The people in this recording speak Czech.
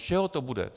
Z čeho to bude?